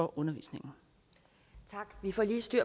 undervisning det er således den